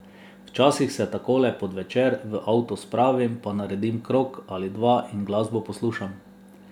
Včasih se takole, pod večer, v avto spravim, pa naredim krog ali dva in glasbo poslušam.